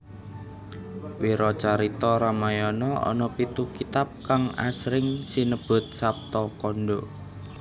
Wiracarita Ramayana ana pitu kitab kang asring sinebut Saptakanda